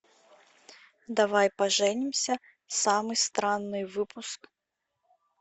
давай поженимся самый странный выпуск